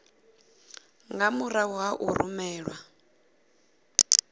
nga murahu ha u rumelwa